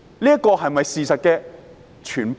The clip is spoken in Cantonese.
這是不是事實的全部？